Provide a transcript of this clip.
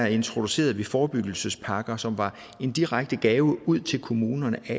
introducerede vi forebyggelsespakker som var en direkte gave ud til kommunerne i